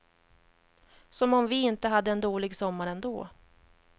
Som om vi inte hade en dålig sommar ändå.